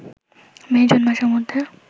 মে-জুন মাসের মধ্যে